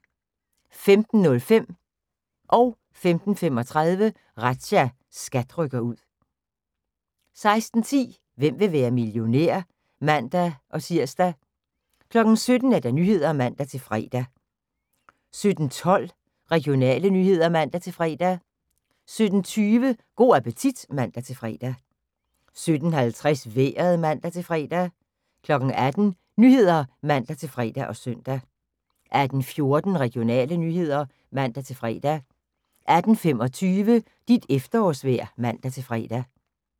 15:05: Razzia – SKAT rykker ud 15:35: Razzia – SKAT rykker ud 16:10: Hvem vil være millionær? (man-tir) 17:00: Nyhederne (man-fre) 17:12: Regionale nyheder (man-fre) 17:20: Go' appetit (man-fre) 17:50: Vejret (man-fre) 18:00: Nyhederne (man-fre og søn) 18:14: Regionale nyheder (man-fre) 18:25: Dit efterårsvejr (man-fre)